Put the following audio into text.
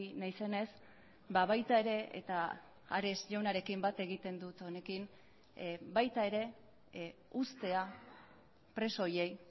naizenez baita ere eta ares jaunarekin bat egiten dut honekin baita ere uztea preso horiei